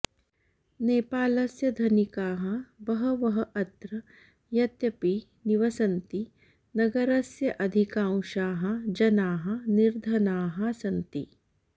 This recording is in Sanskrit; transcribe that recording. नेपालस्य धनिकाः बहवः अत्र यद्यपि निवसन्ति नगरस्य अधिकांशाः जनाः निर्धनाः सन्ति